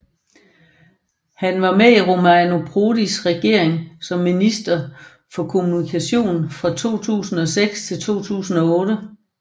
Han var med i Romano Prodis regering som minister for kommunikation fra 2006 til 2008